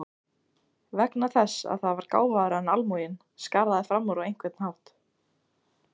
Vegna þess að það var gáfaðra en almúginn, skaraði fram úr á einhvern hátt.